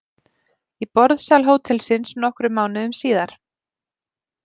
Í borðsal hótelsins nokkrum mánuðum síðar.